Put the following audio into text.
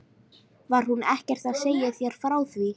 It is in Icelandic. Var hún ekkert að segja þér frá því?